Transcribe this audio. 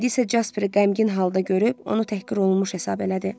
İndi isə Jasperi qəmgin halda görüb onu təhqir olunmuş hesab elədi.